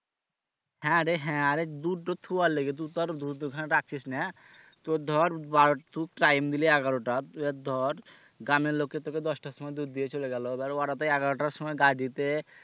হ্যাঁ রে হ্যাঁ আরে দুধ তো থুয়া লাগে তু তো আর দুধ ওখানে রাখছিস না তোর ধর বারো তু time দিলি এগোরোটা আহ ধর গ্রামের লোকে তোকে দশটার সময় দুধ দিয়ে চলে গেল এবার ওরা তো এগারোটার সময় গাড়িতে